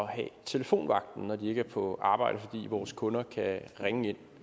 have telefonvagten når de ikke er på arbejde så vores kunder kan ringe